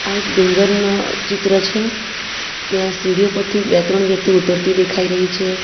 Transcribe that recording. આ એક ડુંગર નો ચિત્ર છે ત્યાં સીડીઓ પરથી બે ત્રણ વ્યક્તિ ઉતરતી દેખાઈ રહી છે.